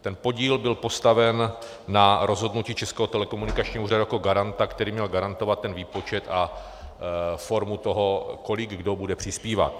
Ten podíl byl postaven na rozhodnutí Českého telekomunikačního úřadu jako garanta, který měl garantovat ten výpočet a formu toho, kolik kdo bude přispívat.